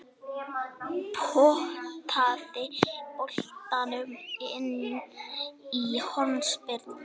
Potaði boltanum inn eftir hornspyrnu.